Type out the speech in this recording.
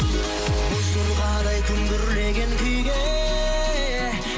боз жорғадай күмбірлеген күйге